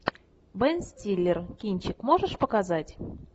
бен стиллер кинчик можешь показать